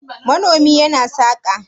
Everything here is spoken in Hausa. manomi yana saka?